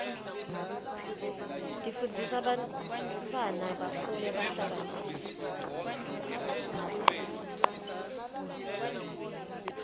tifundzisa bantwana bakhule behlakaniphile